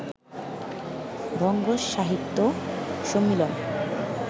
বঙ্গ সাহিত্য সম্মিলন